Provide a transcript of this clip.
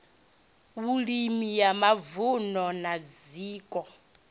vhulimi ya mavunu na zwiko